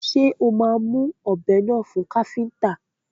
Ṣé o máa mú ọbẹ́ náà fún káfíntà?